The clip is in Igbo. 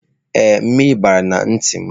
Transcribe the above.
Ee, mmiri bara na ntị m.